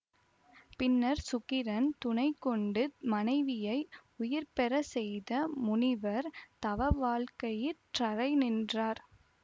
பின்னர்ச் சுக்கிரன் துணை கொண்டு மனைவியை உயிர்பெறச்செய்த முனிவர் தவவாழ்க்கையிற்றலைநின்றனர்